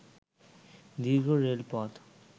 দীর্ঘ রেলপথ